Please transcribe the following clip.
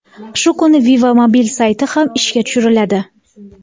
Shu kuni Viva Mobil sayti ham ishga tushiriladi.